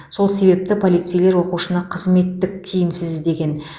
сол себепті полицейлер оқушыны қызметтік киімсіз іздеген